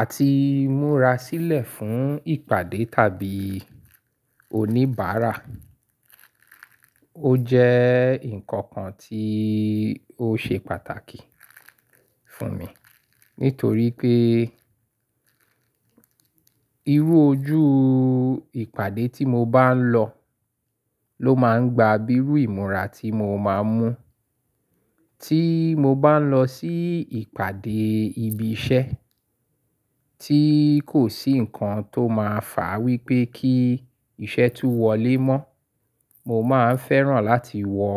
Àti múra sílẹ̀ fún ìpàdé tàbí oníbàárà. Ó jẹ́ nǹkan kan tí ó ṣe pàtàkì fún mi nítorí pé irú ojú ìpàdé tí mo bá ń lọ ló máa ń gba bíi irú ìmúra tí mo máa ń mú. Tí mo bá ń lọ sí ìpàdé ibi iṣẹ́ tí kò sí nǹkan tó máa fà wípé kí iṣẹ́ tú wọlé mọ́, mo máa ń fẹ́ràn láti wọ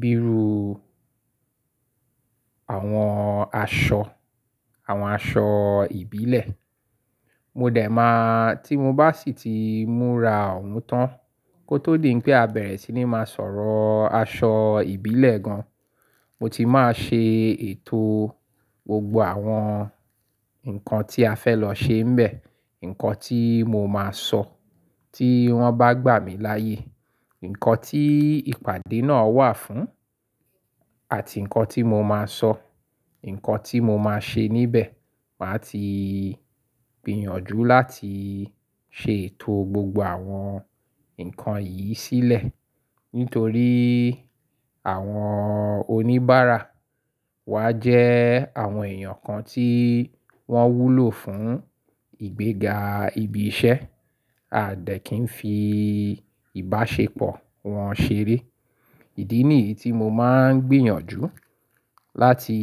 bíi irú àwọn aṣọ, àwọn aṣọ ìbílẹ̀. Mo dẹ̀ máa tí mo bá sì ti múra òun tán kó tó di pé a bẹ̀rẹ̀ sí ní máa sọ̀rọ̀ aṣọ ìbílẹ̀ gan, mo ti máa ṣe ètò gbogbo àwọn nǹkan tí a fẹ́ lọ ṣe ńbẹ, nǹkan tí mo máa sọ tí wọ́n bá gbà mí láyè, nǹkan tí ìpàdé náà wà fún àti nǹkan tí mo máa sọ, nǹkan tí mo máa ṣe níbẹ̀. Màá ti gbìyànjú láti ṣe ètò gbogbo àwọn nǹkan yìí sílẹ̀ nítorí àwọn oníbàárà wa jẹ́ àwọn èèyàn kan tí wọ́n wúlò fún ìgbéga ibi iṣẹ́, a dẹ̀ kí ń fi ìbáṣepọ̀ wọn ṣeré. Ìdí nìyí tí mo máa ń gbìyànjú láti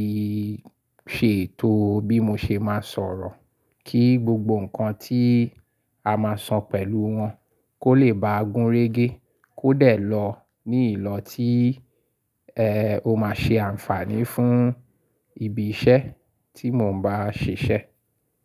ṣe ètò bí mo ṣe máa sọ̀rọ̀ kí gbogbo nǹkan tí a máa so pẹ̀lú wọn kó lè bá gun régé, kó dẹ̀ lọ ní ìlọ tí, ẹ́, ó máa ṣe àǹfààní fún ibi iṣẹ́ tí mò ń bá ṣiṣẹ́.